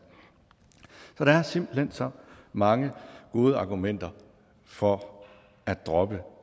så der er simpelt hen så mange gode argumenter for at droppe